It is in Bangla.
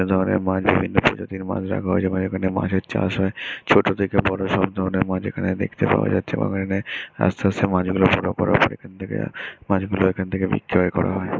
এক ধরনের মাছ বিভিন্ন প্রজাতির মাছ রাখা হয়ে যেমন এখানে মাছের চাষ হয় ছোট থেকে বড়ো সব ধরণের মাছ এখানে দেখতে পাওয়া যাচ্ছে এবং এখানে আস্তে আস্তে মাছগুলো বড় হয় এখন থেকে মাছগুলো এখান থেকে বিক্রয় করা হয়।